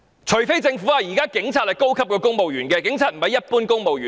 除非政府認為警察是高級公務員，不是一般公務員。